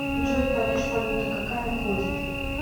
джой париж валюта какая ходит